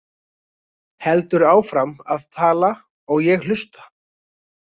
Heldur áfram að tala og ég hlusta.